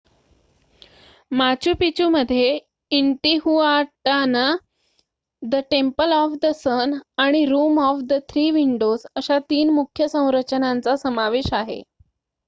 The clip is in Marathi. माचू पिचूमध्ये Intihuatana the temple of the sun आणि room of the three windows अशा 3 मुख्य संरचनांचा समावेश आहे